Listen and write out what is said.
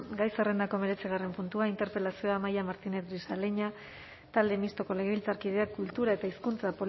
gai zerrendako hemeretzigarren gaia interpelazioa amaia martínez grisaleña talde mistoko legebiltzarkideak kultura eta hizkuntza